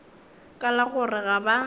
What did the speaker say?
ka la gore ga ba